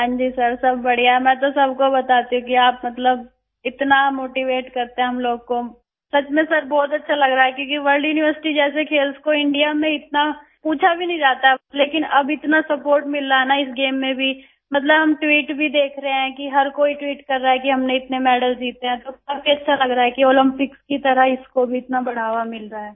हां जी सर सब बढिया मैं तो सबको बताती हूँ कि आप मतलब इतना मोटीवेट करते हैं हम लोग को सच में सर बहुत अच्छा लग रहा है क्योंकि वर्ल्ड यूनिवर्सिटी जैसे खेल को इंडिया में इतना पूछा भी नहीं जाता है लेकिन अब इतना सपोर्ट मिल रहा है ना इस गेम में भी मतलब हम ट्वीट भी देख रहे हैं कि हर कोई ट्वीट कर रहा है कि हमने इतने मेडल जीते हैं तो काफी अच्छा लग रहा है कि ओलम्पिक्स की तरह इसको भी इतना बढ़ावा मिल रहा है